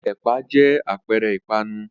Ẹ̀pà jẹ́ àpẹẹrẹ ìpanu.